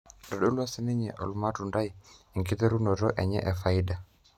Itodolua sininye olmatundai enkiterunoto enye efaida.